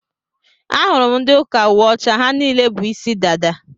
Ahụrụ m ndị ụka uwe ọcha, ha niile bú ịsị dada.